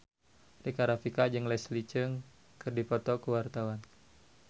Rika Rafika jeung Leslie Cheung keur dipoto ku wartawan